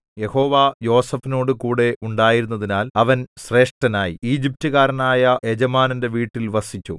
യഹോവ യോസേഫിനോടുകൂടെ ഉണ്ടായിരുന്നതിനാൽ അവൻ ശ്രേഷ്ഠനായി ഈജിപ്റ്റുകാരനായ യജമാനന്റെ വീട്ടിൽ വസിച്ചു